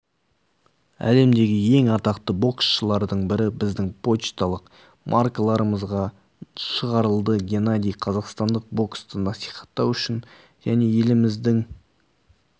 әлемдегі ең атақты боксшылардың бірі біздің пошталық маркаларымызға шығарылды геннадий қазақстандық боксты насихаттау үшін және еліміздің